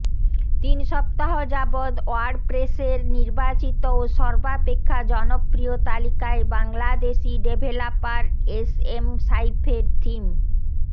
তিন সপ্তাহ যাবৎ ওয়ার্ডপ্রেসের নির্বাচিত ও সর্বাপেক্ষা জনপ্রিয় তালিকায় বাংলাদেশী ডেভেলপার এস এম সাইফের থিম